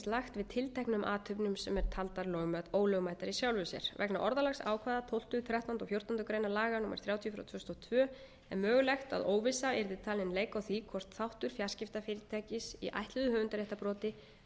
lagt við tilteknum athöfnum sem eru taldar ólögmætar í sjálfu sér vegna orðalags ákvæða tólfta þrettánda og fjórtándu grein laga númer þrjátíu tvö þúsund og tvö er mögulegt að óvissa yrði talin leika á því hvort þáttur fjarskiptafyrirtækis í ætluðu höfundaréttarbroti